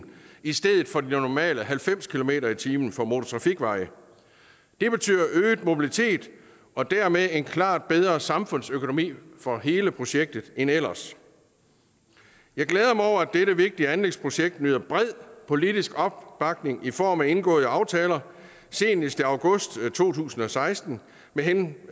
i stedet for de normale halvfems kilometer per time for motortrafikveje det betyder øget mobilitet og dermed en klart bedre samfundsøkonomi for hele projektet end ellers jeg glæder mig over at dette vigtige anlægsprojekt nyder bred politisk opbakning i form af indgåede aftaler senest i august to tusind og seksten med hensyn